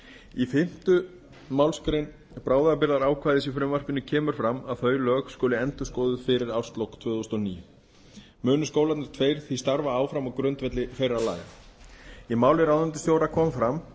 í fimmta málsgrein bráðabirgðaákvæðis í frumvarpinu kemur fram að þau lög skuli endurskoðuð fyrir árslok tvö þúsund og níu munu skólarnir tveir því starfa áfram á grundvelli þeirra laga í máli ráðuneytisstjóra